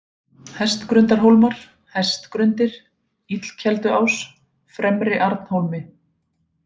Hestgrundarhólmar, Hestgrundir, Illukelduás, Fremri-Arnhólmi